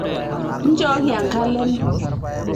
inchooki enkalem